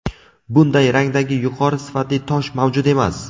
Bunday rangdagi yuqori sifatli tosh mavjud emas.